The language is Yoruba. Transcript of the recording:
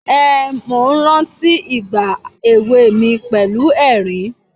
Ehn, mò ń rántí ìgbà ewé mi, pẹ̀lú ẹ̀rín.